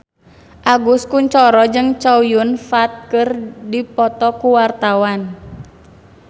Agus Kuncoro jeung Chow Yun Fat keur dipoto ku wartawan